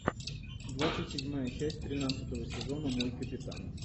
двадцать седьмая часть тринадцатого сезона мой капитан